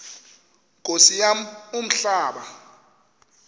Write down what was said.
nkosi yam umhlaba